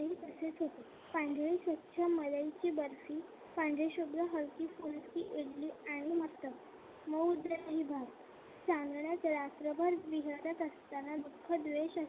पांढरी स्वच्छ मलाईची बर्फी पांढरीशुभ्र हलकी-फुलकी इडली आणि असतं भाऊ मऊ आणि भात चांदण्यात रात्रभर विहरत असताना दुःख द्वेष